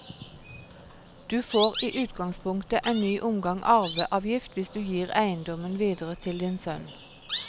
Du får i utgangspunktet en ny omgang arveavgift hvis du gir eiendommen videre til din sønn.